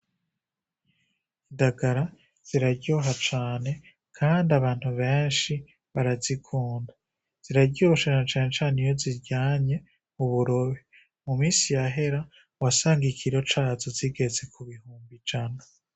Indagara ziraryoha cane, kandi abantu benshi barazikunda, ziraryoshe na cane cane iyo uziryanye uburobe, mu musi yahera wasanga ikiro cazo zigeze mu bihumbi ijana.